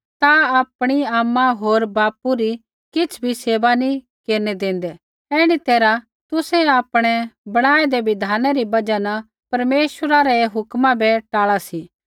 ता आपणै आमा होर बापू री किछ़ भी सेवा नी केरनै देंदै ऐण्ढी तैरहा तुसै आपणै बणाऐदै बिधाना री बजहा न परमेश्वरा रै हुक्मा बै टाल़ा सी